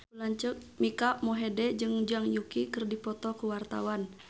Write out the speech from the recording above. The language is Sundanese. Mike Mohede jeung Zhang Yuqi keur dipoto ku wartawan